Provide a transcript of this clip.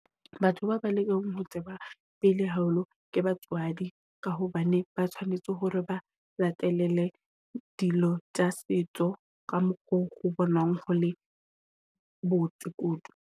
Batho ba ba lekang ho tseba pele haholo ke batswadi ka hobane ba tshwanetse hore ba latelele dilo tsa setso ka mokgo o bonang ho le botse kudu.